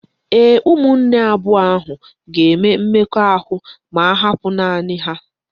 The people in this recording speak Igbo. Ee, ụmụnne abụọ ahụ ga-eme mmekọahụ ma ahapụ naanị ha.